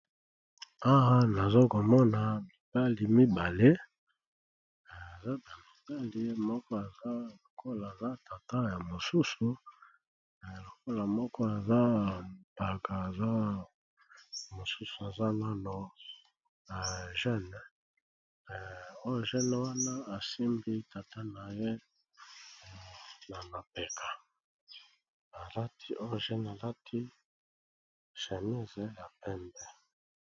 Awa namoni balakisi biso mibali mibale moko eza neti aza tata ya mosusu po moko aza mpka mosusu aza nano jeune jeune wana asimbi tata naye namapeka